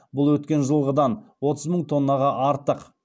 бұл өткен жылғыдан отыз мың тоннаға артық